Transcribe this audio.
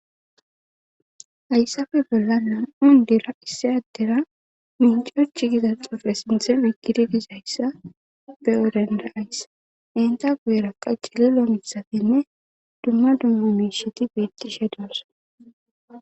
Hayssafe bolla nam7un dira issi addera minceoch giza xuufe sinthe migididizayssa be odenda aysa enta gueraqa cililo mitsatinne dumma dumma miisheti betishe doosana.